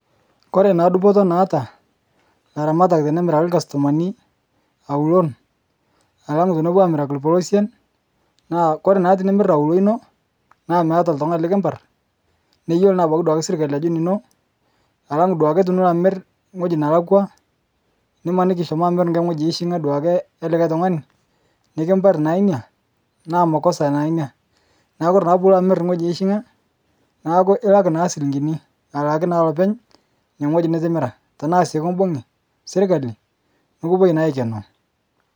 Kore naa dupoto naata laamatak tenemiraki lkastomani aulon alang' tenepo aamiraki lpolosen, naa koree naa tinimir aulo ino naa meatae lttung'ani likiparr neyolo abaki duaki serkali ajo nino alang' duake tinilo amir ng'oji nelakwa nimaniki ishomo amir ng'oji eishing'a duake elikae tung'ani nikipari naa inia naa makosa naa inia. Naa kore naa puulo amir ng'oji eishing'a naaku ilak naa silinkini alaaki naa lopeny ine ng'oji nitimira. Tanaa sii kubung'i sirkali nikupoi naa aikenoo.